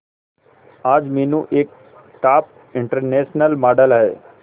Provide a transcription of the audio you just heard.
आज मीनू एक top international model है